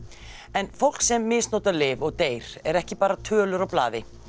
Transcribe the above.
en fólk sem misnotar lyf og deyr er ekki bara tölur á blaði